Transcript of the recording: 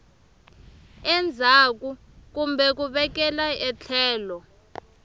endzhaku kumbe ku vekela etlhelo